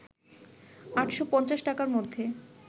৮৫০ টাকার মধ্যে